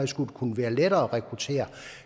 skulle kunne være lettere at rekruttere